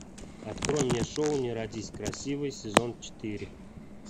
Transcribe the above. открой мне шоу не родись красивой сезон четыре